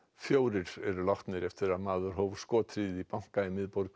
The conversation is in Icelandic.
fjórir eru látnir eftir að maður hóf skothríð í banka í miðborg